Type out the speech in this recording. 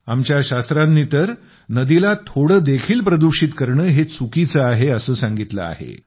आमच्या शास्त्रांनी तर नदीला थोडे देखील प्रदूषित करणे हे चुकीचं आहे असं सांगितलं आहे